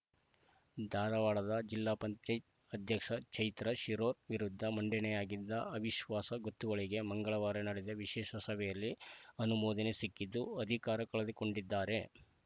ಧಾರವಾಡದ ಜಿಲ್ಲಾ ಪಂಚಾಯ್ ಅಧ್ಯಕ್ಷೆ ಚೈತ್ರಾ ಶಿರೂರ ವಿರುದ್ಧ ಮಂಡನೆಯಾಗಿದ್ದ ಅವಿಶ್ವಾಸ ಗೊತ್ತುವಳಿಗೆ ಮಂಗಳವಾರ ನಡೆದ ವಿಶೇಷ ಸಭೆಯಲ್ಲಿ ಅನುಮೋದನೆ ಸಿಕ್ಕಿದ್ದು ಅಧಿಕಾರ ಕಳೆದುಕೊಂಡಿದ್ದಾರೆ